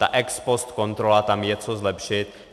Ta ex post kontrola, tam je co zlepšit.